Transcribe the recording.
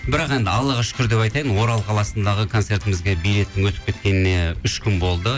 бірақ енді аллаға шүкір деп айтайын орал қаласындағы концертімізге билеттің өтіп кеткеніне үш күн болды